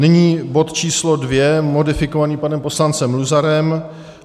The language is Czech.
Nyní bod číslo 2 modifikovaný panem poslancem Luzarem.